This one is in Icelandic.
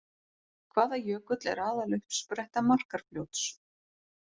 Hvaða jökull er aðaluppspretta Markarfljóts?